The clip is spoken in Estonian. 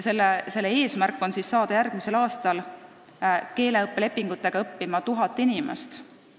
Eesmärk on saada järgmisel aastal lepingute abil õppima 1000 inimest.